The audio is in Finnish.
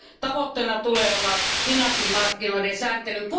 Tavoitteena tulee olla finanssimarkkinoiden sääntely.